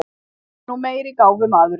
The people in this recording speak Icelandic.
Það er nú meiri gáfumaðurinn.